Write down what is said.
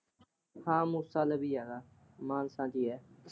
ਹਾਂ ਮੂਸਾ ਲਵੀਂ ਆ, ਮਾਨਸਾ ਚ ਹੀ ਆ।